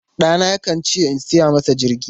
Ɗana yakan ce in saya masa jirgi.